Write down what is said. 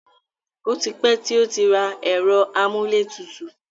O ti pẹ́ tí ó rà ẹ̀rọ amúlétutù.